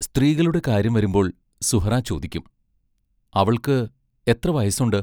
സ്ത്രീകളുടെ കാര്യം വരുമ്പോൾ സുഹ്റാ ചോദിക്കും: അവൾക്ക് എത്ര വയസ്സുണ്ട്.